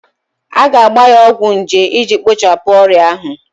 A ga-agba ya ọgwụ nje iji kpochapụ ọrịa ahụ